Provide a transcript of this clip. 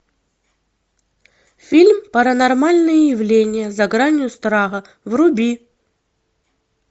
фильм паранормальные явления за гранью страха вруби